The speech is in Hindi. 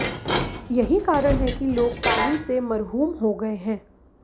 यही कारण है कि लोग पानी से मरहूम हो गए हैं